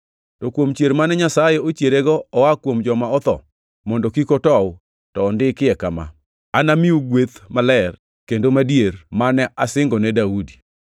To kuom chier mane Nyasaye ochierego oa kuom joma otho, mondo kik otow, to ondikie kama: “ ‘Anamiu gweth maler kendo madier, mane asingone Daudi.’ + 13:34 \+xt Isa 55:3\+xt*